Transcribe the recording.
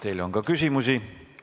Teile on ka küsimusi.